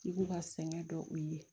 I k'u ka sɛgɛn dɔ i ye